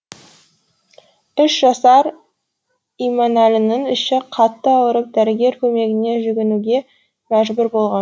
үш жасар иманәлінің іші қатты аурып дәрігер көмегіне жүгінуге мәжбүр болған